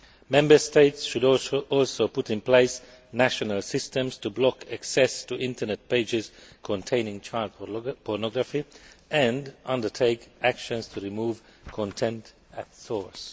Member States should also put in place national systems to block access to Internet pages containing child pornography and undertake actions to remove the content at source.